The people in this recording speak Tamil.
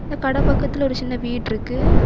இந்த கடை பக்கத்தில் ஒரு சின்ன வீடு இருக்கு.